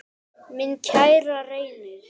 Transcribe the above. Minn kæri Reynir.